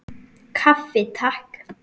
Kaffi, Takk!